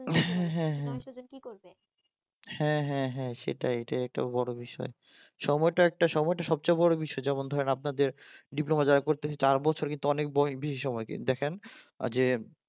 হ্যাঁ হ্যাঁ হ্যাঁ হ্যাঁ হ্যাঁ সময়টা অনেক বড় বিষয় সময়টা একটা সময়টা সবচেয়ে বড় বিষয় যেমন ধরেন আপনাদের ডিপ্লোমা যারা করতেছে চার বছর কিন্তু অনেক ববেশি সময় কিন্তু দেথেন আহ যে